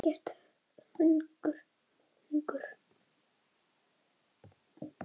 Ekkert hungur.